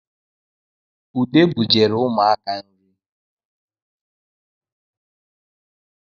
Ude bujere ụmụaka nri